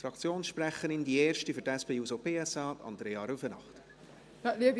Die erste Fraktionssprecherin für die SP-JUSO-PSA, Andrea Rüfenacht.